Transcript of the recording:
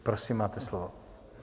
Prosím, máte slovo.